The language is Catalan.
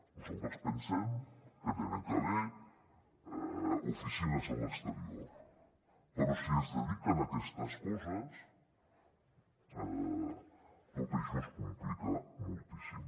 nosaltres pensem que hi ha d’haver oficines a l’exterior però si es dediquen a aquestes coses tot això es complica moltíssim